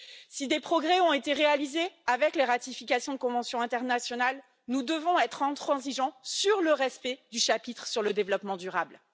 Si des progrès ont été réalisés avec les ratifications de conventions internationales, nous devons être intransigeants sur le respect du chapitre sur le développement durable.